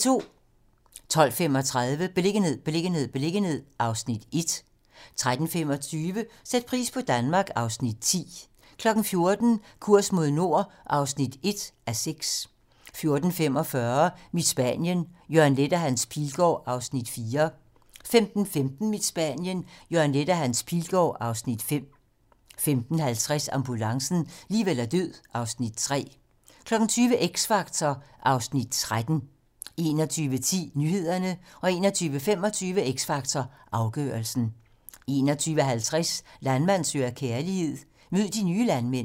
12:35: Beliggenhed, beliggenhed, beliggenhed (Afs. 1) 13:25: Sæt pris på Danmark (Afs. 10) 14:00: Kurs mod nord (1:6) 14:45: Mit Spanien - Jørgen Leth og Hans Pilgaard (Afs. 4) 15:15: Mit Spanien - Jørgen Leth og Hans Pilgaard (Afs. 5) 15:50: Ambulancen - liv eller død (Afs. 3) 20:00: X Factor (Afs. 13) 21:10: Nyhederne 21:25: X Factor - afgørelsen 21:50: Landmand søger kærlighed - mød de nye landmænd